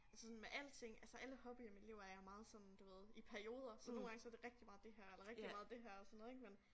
Altså sådan med alting altså alle hobbyer i mit liv er jeg meget sådan du ved i perioder så nogle gange så det rigtig meget det her eller rigtig meget det her og sådan noget ik men